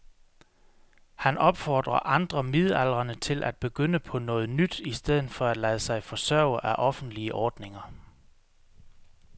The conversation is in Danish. Han opfordrer andre midaldrende til at begynde på noget nyt i stedet for at lade sig forsørge af offentlige ordninger.